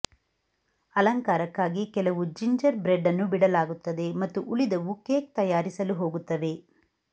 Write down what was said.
ಅಲಂಕಾರಕ್ಕಾಗಿ ಕೆಲವು gingerbread ಅನ್ನು ಬಿಡಲಾಗುತ್ತದೆ ಮತ್ತು ಉಳಿದವು ಕೇಕ್ ತಯಾರಿಸಲು ಹೋಗುತ್ತವೆ